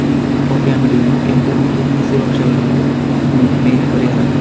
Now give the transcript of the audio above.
ಈ ಕಾಫಿ ಅಂಗಡಿಯನ್ನು ಕೆಂಪು ಮತ್ತು ಹಸಿರು ಅಕ್ಷರದಲ್ಲಿ ಮೇಲೆ ಬರೆಯಲಾಗಿದೆ.